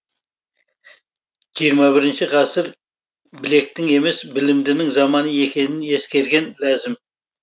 жиырма бірінші ғасыр білектің емес білімдінің заманы екенін ескерген ләзім